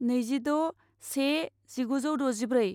नैजिद' से जिगुजौ द'जिब्रै